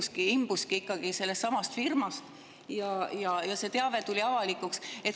See kõik imbuski ikkagi sellestsamast firmast ja see teave tuli avalikuks.